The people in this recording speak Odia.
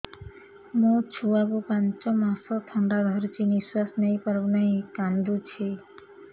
ମୋ ଛୁଆକୁ ପାଞ୍ଚ ମାସ ଥଣ୍ଡା ଧରିଛି ନିଶ୍ୱାସ ନେଇ ପାରୁ ନାହିଁ କାଂଦୁଛି